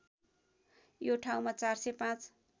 यो ठाउँमा ४०५